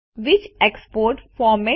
which export format